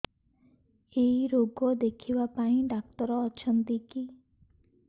ଏଇ ରୋଗ ଦେଖିବା ପାଇଁ ଡ଼ାକ୍ତର ଅଛନ୍ତି କି